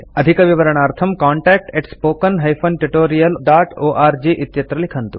अधिकविवरणार्थं contactspoken tutorialorg इत्यत्र लिखन्तु